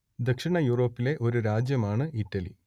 ദക്ഷിണ യൂറോപ്പിലെ ഒരു രാജ്യമാണ് ഇറ്റലി